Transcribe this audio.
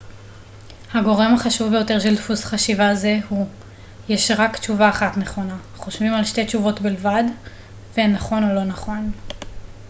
הגורם החשוב ביותר של דפוס חשיבה זה הוא יש רק תשובה אחת נכונה חושבים על שתי תשובות בלבד והן נכון או לא נכון